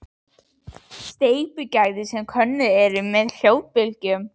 Steypugæði sem könnuð eru með hljóðbylgjum